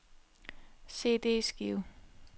CD-skive